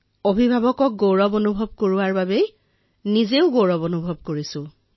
অভিভাৱকক গৌৰৱান্বিত কৰি নিজেও গৌৰৱ অনুভৱ কৰিছো